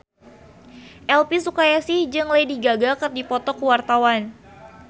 Elvy Sukaesih jeung Lady Gaga keur dipoto ku wartawan